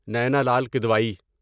Naina Lal Kidwai